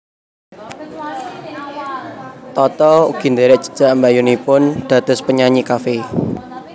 Tata ugi ndherek jejak mbakyunipun dados penyanyi cafe